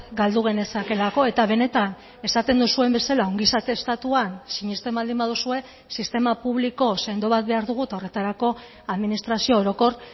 galdu genezakeelako eta benetan esaten duzuen bezala ongizate estatuan sinesten baldin baduzue sistema publiko sendo bat behar dugu eta horretarako administrazio orokor